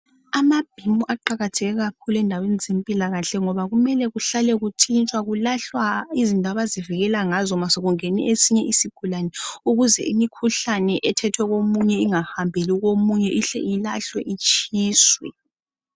Aamabhimu aqakathekile kakhulu endaweni zempilakahle ngoba kumele kuhlale kuntshintshwa kulahlwa izinto abazibikela ngazo ma sekungene esinye isigulane ukuze imikhuhlane ethethwe komunye ingahambeli komunye ihle ilahlwe itshiswe.